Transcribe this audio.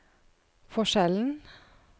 forskjellen